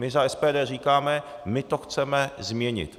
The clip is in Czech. My za SPD říkáme, my to chceme změnit.